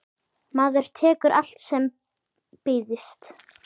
Maður tekur allt sem býðst.